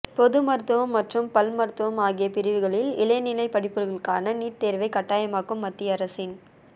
பொது மருத்துவம் மற்றும் பல் மருத்துவம் ஆகிய பிரிவுகளில் இளநிலை படிப்புகளுக்கான நீட் தேர்வைக் கட்டாயமாக்கும் மத்திய அரசின்